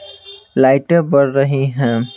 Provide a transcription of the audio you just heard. लाइटें बढ़ रही हैं।